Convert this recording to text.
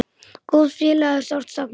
Góðs félaga er sárt saknað.